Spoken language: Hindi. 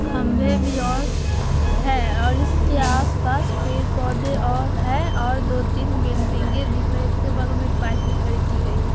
खम्भे भी और है और इसके आस-पास पेड़-पौधे और है और दो-तीन बिल्डिंगे दिख रही है उसके बगल में एक बाइक भी खड़ी की गयी है।